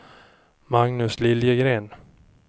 Magnus Liljegren